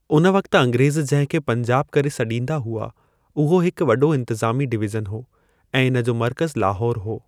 उन वक्त अंग्रेज़ जहिं खे पंजाब करे सॾींदा हुआ, उहो हिक वॾो इंतजामी डिवीज़न हो ऐं इन जो मर्कज़ु लाहौर हो।